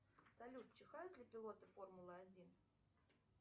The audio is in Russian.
салют чихают ли пилоты формулы один